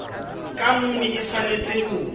ka nngwe e tshwanetse ho